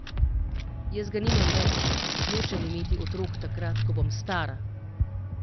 Jaz ga nimam več, nočem imeti otrok takrat, ko bom stara!